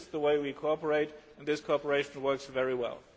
This is the way we cooperate and this cooperation works very well.